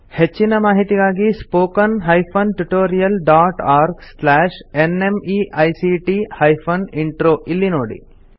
ಹೆಚ್ಚಿನ ಮಾಹಿತಿಗಾಗಿ spoken hyphen tutorial dot org slash NMEICT hyphen intro ಇಲ್ಲಿ ನೋಡಿ